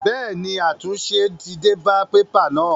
Bẹ́ẹ̀ ni, àtúnṣe ti dé bá pépà náà.